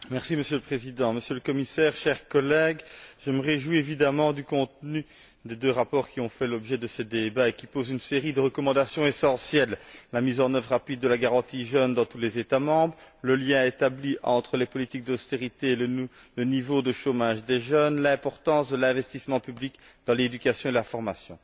Monsieur le Président, Monsieur le Commissaire, chers collègues, je me réjouis évidemment du contenu des deux rapports qui ont fait l'objet de ces débats, et qui comportent une série de recommandations essentielles mise en œuvre rapide de la garantie pour la jeunesse dans tous les États membres, établissement du lien entre les politiques d'austérité et le niveau de chômage des jeunes, importance de l'investissement public dans l'éducation et la formation.